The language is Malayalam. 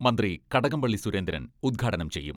മന്ത്രി കടകംപള്ളി സുരേന്ദ്രൻ ഉദ്ഘാടനം ചെയ്യും.